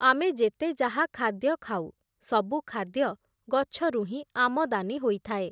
ଆମେ ଯେତେ ଯାହା ଖାଦ୍ୟ ଖାଉ, ସବୁ ଖାଦ୍ୟ ଗଛରୁ ହିଁ ଆମଦାନୀ ହୋଇଥାଏ ।